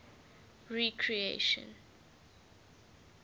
recreation